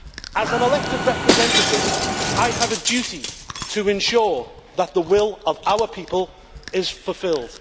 As an elected representative, I have a duty to ensure that the will of our people is fulfilled.